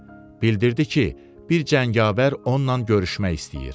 Bildirdi ki, bir cəngavər onunla görüşmək istəyir.